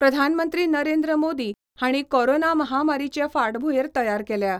प्रधानमंत्री नरेंद्र मोदी हांणी कोरोना महामारीचे फाटभुंयेर तयार केल्या.